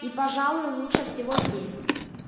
и пожалуй лучше всего здесь